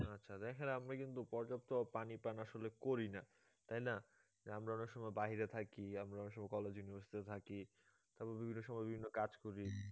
আচ্ছা দেখেন আপনি কিন্তু পর্যাপ্ত পানি পান আসলে করি না তাই না আমরা অনেক সময় বাহিরে থাকি আমরা থাকি তারপর বিভিন্ন সময় বিভিন্ন কাজ করি